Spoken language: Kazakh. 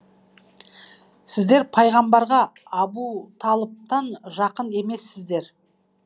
сіздер пайғамбарға абуталыптан жақын емессіздер